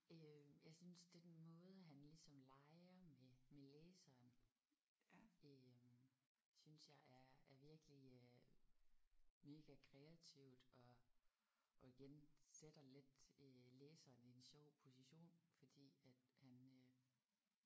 Øh jeg synes den måde han ligesom leger med med læseren øh synes jeg er er virkelig øh mega kreativt og og igen sætter lidt øh læseren i en sjov position fordi at han øh